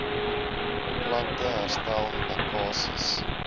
plante herstel lekkasies